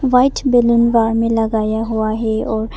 white balloon bar में लगाया हुआ है और--